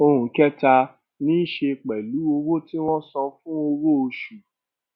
ohun kẹta ní í ṣe pẹlú owó tí wọn san fún owó oṣù